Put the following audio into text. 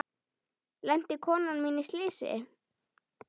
Lenti konan mín í slysi?